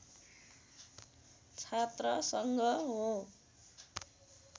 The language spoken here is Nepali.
छात्र सङ्घ हो